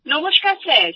নমস্কার স্যার